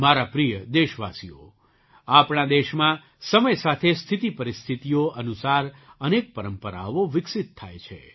મારા પ્રિય દેશવાસીઓ આપણા દેશમાં સમય સાથે સ્થિતિપરિસ્થિતિઓ અનુસાર અનેક પરંપરાઓ વિકસિત થાય છે